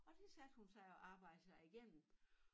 Og det satte hun sig og arbejdede sig igennem